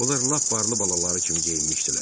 Onlar lap varlı balaları kimi geyinmişdilər.